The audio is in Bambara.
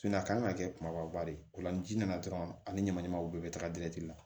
a kan ka kɛ kumaba de ye o la ni ji nana dɔrɔn ani ɲamanɲamanw bɛɛ bɛ taga la